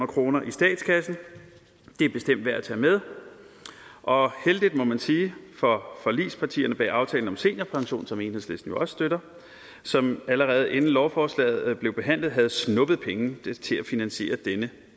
kroner i statskassen det er bestemt værd at tage med og heldigt må man sige for forligspartierne bag aftalen om seniorpension som enhedslisten også støtter som allerede inden lovforslaget blev behandlet havde snuppet penge til at finansiere denne